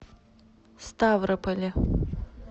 ставрополе